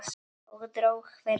Og dró hvergi undan.